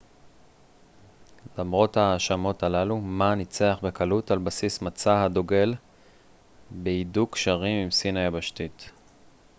למרות ההאשמות הללו מא ניצח בקלות על בסיס מצע הדוגל בהידוק קשרים עם סין היבשתית